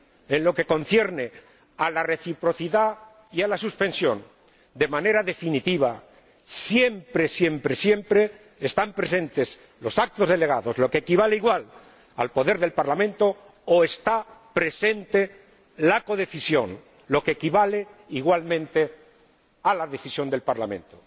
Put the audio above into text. En lo que concierne a la reciprocidad y a la suspensión, de manera definitiva, siempre, siempre, siempre están presentes los actos delegados, lo que equivale al poder del Parlamento, o está presente la codecisión, lo que equivale, igualmente, a la decisión del Parlamento.